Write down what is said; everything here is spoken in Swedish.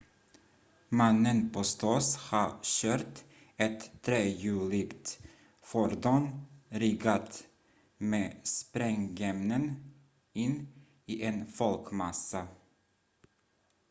mannen påstås ha kört ett trehjuligt fordon riggat med sprängämnen in i en folkmassa